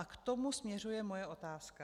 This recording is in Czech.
A k tomu směřuje moje otázka.